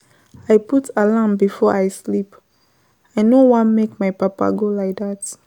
I put alarm before I sleep, I no wan make my papa go like dat.